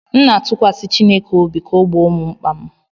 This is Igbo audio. M na-atụkwasị Chineke obi ka ọ gboo mkpa m